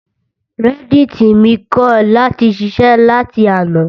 Reddit mi kọ̀ láti ṣiṣẹ́ láti àná.